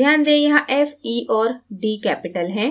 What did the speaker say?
ध्यान दें यहाँ f e और d capital है